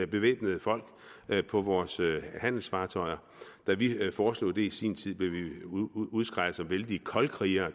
bevæbnede folk på vores handelsfartøjer da vi foreslog det i sin tid blev vi udskreget som vældige koldkrigere